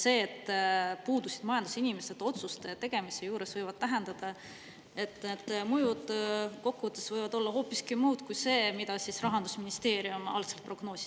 See, et otsuste tegemise juures puudusid majandusinimesed, võib tähendada, et mõjud võivad kokkuvõttes olla hoopiski muud kui need, mida Rahandusministeerium algselt prognoosis.